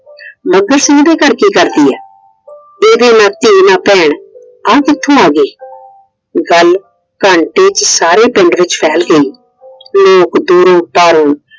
ਮੱਘਰ ਸਿੰਘ ਦੇ ਘਰ ਕੀ ਕਰਦੀ ਏ? ਇਹਦੀ ਨਾ ਧੀ ਨਾ ਭੈਣ ਆ ਕਿੱਥੋਂ ਆ ਗਈ? ਗੱਲ ਘੰਟੇ ਚ ਸਾਰੇ ਪਿੰਡ ਚ ਫੈਲ ਗਈ। ਲੋਕ ਦੂਰੋਂ ਚੱਲ